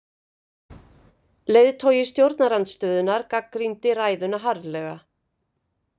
Leiðtogi stjórnarandstöðunnar gagnrýndi ræðuna harðlega